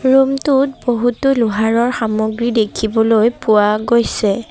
Room টোত বহুতো লোহাৰৰ সামগ্ৰী দেখিবলৈ পোৱা গৈছে।